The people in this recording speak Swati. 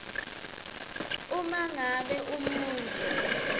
uma ngabe umuntfu